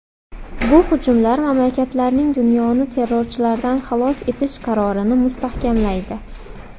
Bu hujumlar mamlakatlarning dunyoni terrorchilardan xalos etish qarorini mustahkamlaydi.